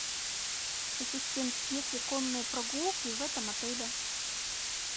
ассистент есть ли конные прогулки в этом отеле